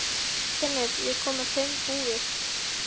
Finnur, ég kom með fimm húfur!